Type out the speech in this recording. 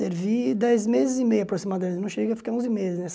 Servi dez meses e meio, aproximadamente, não cheguei a ficar onze meses,